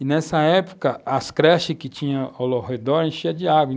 E nessa época, as creches que tinham ao redor enchiam de água.